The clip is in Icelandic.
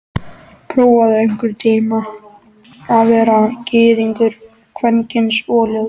Prófaðu einhvern tíma að vera gyðingur, kvenkyns og ljót.